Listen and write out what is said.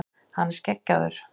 Hann er skeggjaður.